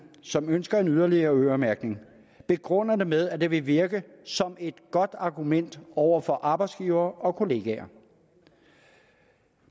som ønsker en yderligere øremærkning begrunder det med at det vil virke som et godt argument over for arbejdsgivere og kollegaer